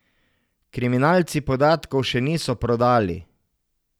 Kriminalci podatkov še niso prodali.